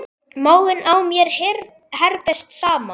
Maginn á mér herpist saman.